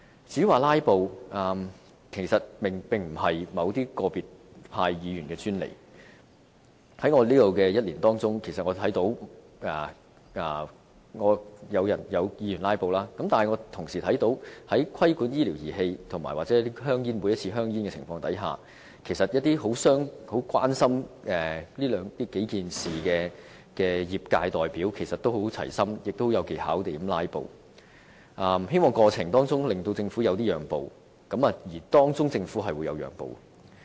至於"拉布"，其實並不是個別派別議員的專利，在我擔任立法會議員的這1年，我看到有議員"拉布"，但我同時看到當討論規管醫療儀器或修訂香煙健康忠告的覆蓋範圍的議案時，一些十分關心這數件事的業界代表，也十分齊心，並有技巧地"拉布"，希望在這個過程中，令政府作出一些讓步，而政府是讓了步的。